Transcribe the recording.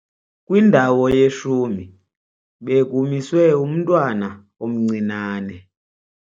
Kwindawo yeshumi bekumiswe umntwana omncinane.